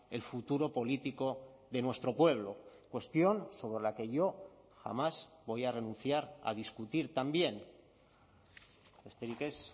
el futuro político de nuestro pueblo cuestión sobre la que yo jamás voy a renunciar a discutir también besterik ez